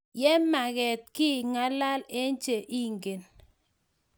Ye menget kiy ngalal eng che ingen.